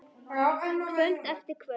Kvöld eftir kvöld.